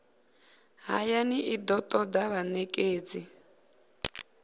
hayani i do toda vhanekedzi